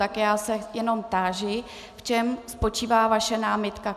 Tak já se jenom táži, v čem spočívá vaše námitka.